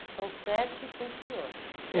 são sete com o senhor.